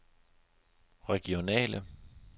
regionale